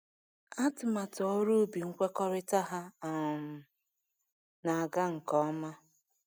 Atụmatụ ọrụ ubi nkwekọrịta ha um na-aga nke ọma.